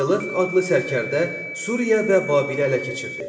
Selevk adlı sərkərdə Suriya və Babilə ələ keçirdi.